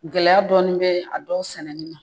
Gɛlɛya dɔɔni bɛ a dɔw sɛnɛni na